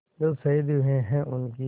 जो शहीद हुए हैं उनकी